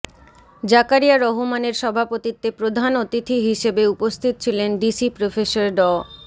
জাকারিয়া রহমানের সভাপতিত্বে প্রধান অতিথি হিসেবে উপস্থিত ছিলেন ভিসি প্রফেসর ড